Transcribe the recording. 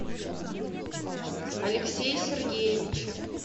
алексее сергеевиче